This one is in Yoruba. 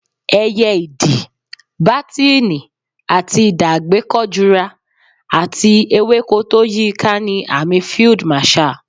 Ẹyẹ Idì, bátíìnì àti idà àgbékọjura, àti ewéko tó yíiká ni àmì Field Marshal.